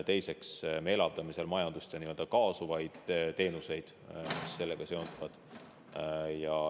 Teiseks, me elavdame seal majandust ja kaasuvaid teenuseid, mis sellega seonduvad.